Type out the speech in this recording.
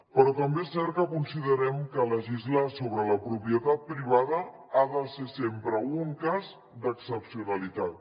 però també és cert que considerem que legislar sobre la propietat privada ha de ser sempre un cas d’excepcionalitat